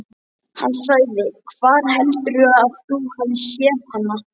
Hann sagði: Hvar heldurðu að þú hafir séð hana?